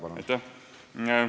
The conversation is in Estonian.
Aitäh!